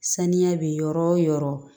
Saniya bɛ yɔrɔ o yɔrɔ